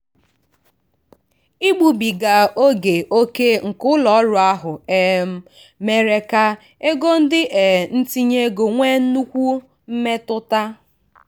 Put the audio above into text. ịgbubiga oge ókè nke ụlọ ọrụ ahụ um mere ka ego ndị um ntinye ego nwee nnukwu mmetụta.